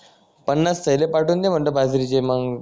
पन्नास थेले पाठवून दे म्हंटल बाजरीचे मग